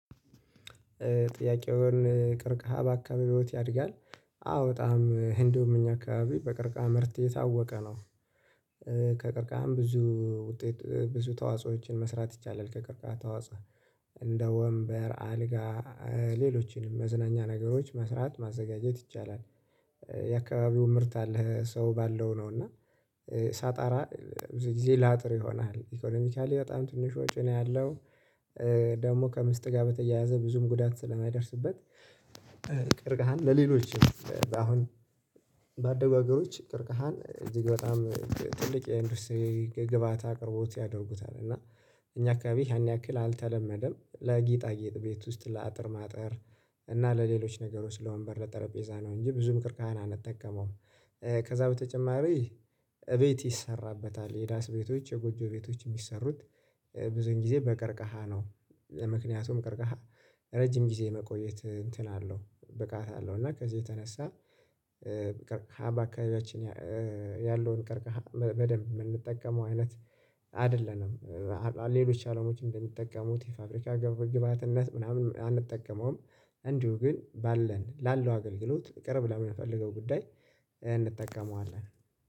ጥያቄውን ቅርቃሃ በአካባቢዎት ቤት ያድጋል? አዎ በጣም ህንዱም እኛ አካባቢ በቀርቃሃ ምርት የታወቀ ነው። ከቀርቃሃም ብዙ ውጤት ብዙ ተዋጾዎችን መስራት ይቻላል። ከቀርቃህ ተዋጾኦ እንደ ወንበር አልጋ ሌሎችንም መዝናኛ ነገሮች መስራት ማዘጋጀት ይቻላል። የአካባቢው ምርት አለህ ሰው ባለው ነው እና። ሳጣራ ብዙ ጊዜ ላጥር ይሆናል ኢኮኖሚካሊ በጣም ትንሽ ወጪ ነው ያለው። ደግሞ ከምስጥ ጋር በተያያዘ ብዙም ጉዳት ስለማይደርስበት። ቅርቀሃን ለሌሎችም በአሁን ባደጉ ሀገሮች ቅርቀሃን እዚህ በጣም ትልቅ የኢንደስቱሪ ግብአት አቅርቦት ያደርጉታል እና። እኛ አካባቢ ያን ያክል አልተለመደም ለጌጣጌጥ ቤት ውስጥ ለአጥር ማጠር እና ለሌሎች ነገሮች ለወንበር ለጠረጴዛ ነው እንጂ ብዙም ቅርቀሀን አንጠቀመውም። ከዛ በተጨማሪ እቤት ይሰራበታል የዳስ ቤቶች የጎጆ ቤቶች የሚሰሩት ብዙን ጊዜ በቀርቀሃ ነው። ለምክንያቱም ቀርቀሃ ረጅም ጊዜ መቆየት እንትን አለው ብቃት አለው እና ከዚህ የተነሳ። ቀርቀሃ በአካባቢያችን ያለውን ቀርቀሃ በደንብ የምንጠቀመው አይነት አይደለንም። ሌሎች አለሞች እንደሚጠቀሙት የፋብሪካ ግብር ግብዓነት ምናምን አንጠቀመውም። እንዲሁ ግን ባለን ላለው አገልግሎት ቅርብ ለምንፈልገው ጉዳይ እንጠቀመዋለን